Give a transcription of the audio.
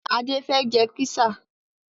Adé fẹ́ jẹ písà